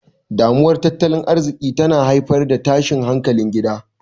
Damuwar Tattalin Arziki tana haifar da tashin hankalin gida.